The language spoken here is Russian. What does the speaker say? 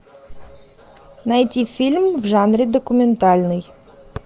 найти фильм в жанре документальный